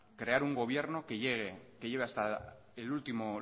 crear un gobierno que lleve hasta el último